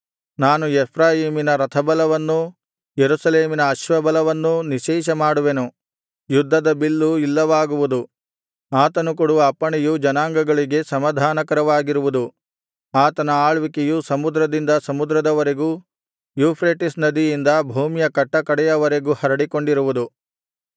ನಾನು ಎಫ್ರಾಯೀಮಿನ ರಥಬಲವನ್ನೂ ಯೆರೂಸಲೇಮಿನ ಅಶ್ವಬಲವನ್ನೂ ನಿಶ್ಶೇಷಮಾಡುವೆನು ಯುದ್ಧದ ಬಿಲ್ಲು ಇಲ್ಲವಾಗುವುದು ಆತನು ಕೊಡುವ ಅಪ್ಪಣೆಯು ಜನಾಂಗಗಳಿಗೆ ಸಮಾಧಾನಕರವಾಗಿರುವುದು ಆತನ ಆಳ್ವಿಕೆಯು ಸಮುದ್ರದಿಂದ ಸಮುದ್ರದವರೆಗೂ ಯೂಫ್ರೆಟಿಸ್ ನದಿಯಿಂದ ಭೂಮಿಯ ಕಟ್ಟಕಡೆಯವರೆಗೂ ಹರಡಿಕೊಂಡಿರುವುದು